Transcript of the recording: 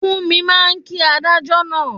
Fúnmi máa kí adájọ́ náà